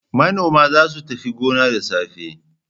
Manoma za su tafi gona da safe.